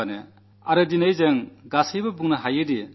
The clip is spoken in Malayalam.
ഞാൻ പറഞ്ഞിരുന്നു ഒരു ചുവട് ശുചിത്വത്തിലേക്ക് എന്ന്